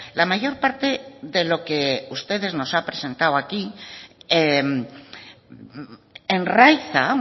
la mayor parte de lo que ustedes nos han presentado aquí enraíza